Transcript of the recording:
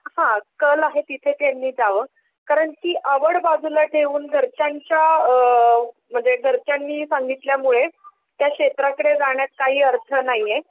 हां कल आहे तिथे त्यांनी जावं.कारण की आवड बाजूला ठेवून घरच्यांच्या अअअ म्हणजे घरच्यांनी सांगितल्यामुळे त्या क्षेत्रांकडे जाण्यात काही अर्थ नाहीये.